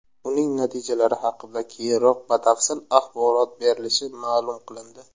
Uning natijalari haqida keyinroq batafsil axborot berilishi ma’lum qilindi.